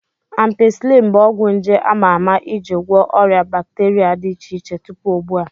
Ampisilin bụ ọgwụ nje ama ama ị ji gwọ ọrịa bakteria dị iche iche tupu ugbu a.